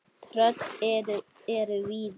Tröll eru víða.